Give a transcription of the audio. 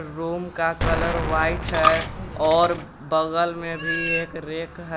Room का colour white है और बगल में भी एक रैक है।